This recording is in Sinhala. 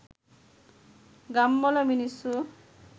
ගම්වල මිනිස්සු